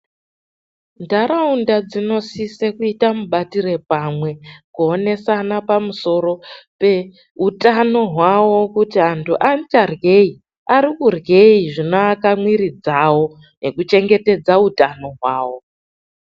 Ntharaunda dzinosise kuita mubatire pamwe, kuonesana pamusoro peutano hwawo kuti antu achadryeyi, arikudryei zvinowaka mwiiri dzawo, nekuchengetedza utano hwawo.